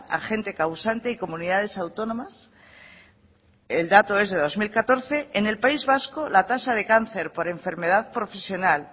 agente causante y comunidades autónomas el dato es de dos mil catorce en el país vasco la tasa de cáncer por enfermedad profesional